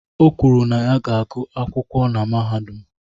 O kwuru na ya ga-agụ akwụkwọ na mahadum.